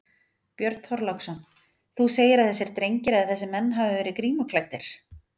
Björn Þorláksson: Þú segir að þessir drengir eða þessir menn hafi verið grímuklæddir?